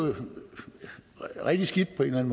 rigtig skidt på en